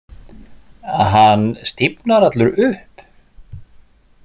Hann stífnar allur upp.